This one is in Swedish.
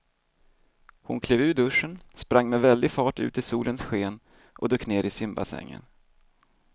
Hon klev ur duschen, sprang med väldig fart ut i solens sken och dök ner i simbassängen.